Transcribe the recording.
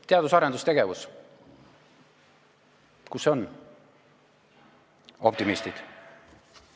Teadus- ja arendustegevus, kus see on, optimistid?